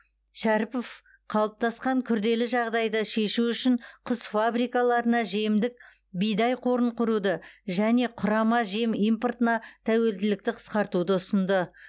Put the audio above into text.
шәріпов қалыптасқан күрделі жағдайды шешу үшін құс фабрикаларына жемдік бидай қорын құруды және құрама жем импортына тәуелділікті қысқартуды ұсынды